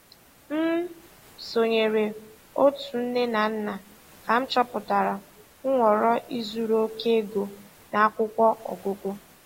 M sonyeere otu nne na nna ka m chọpụta nhọrọ ịzụrụ oke ego na akwụkwọ ọgụgụ.